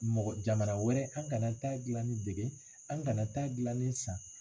Mɔgɔ jamana wɛrɛ an kana taa gilanni dege an kana taa gilanni san.